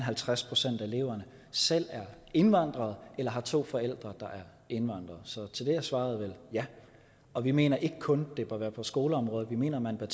halvtreds procent af eleverne selv er indvandrere eller har to forældre der er indvandrere så til det er svaret vel ja og vi mener ikke kun det bør være på skoleområdet vi mener man bør